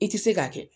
I ti se k'a kɛ